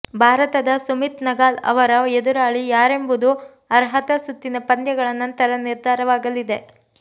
ಭಾರತದ ಸುಮಿತ್ ನಗಾಲ್ ಅವರ ಎದುರಾಳಿ ಯಾರೆಂಬುದು ಅರ್ಹತಾ ಸುತ್ತಿನ ಪಂದ್ಯಗಳ ನಂತರ ನಿರ್ಧಾರವಾಗಲಿದೆ